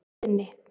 Funi